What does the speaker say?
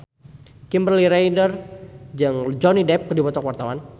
Kimberly Ryder jeung Johnny Depp keur dipoto ku wartawan